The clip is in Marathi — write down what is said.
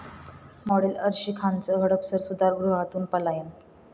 मॉडेल अर्शी खानचं हडपसर सुधारगृहातून पलायन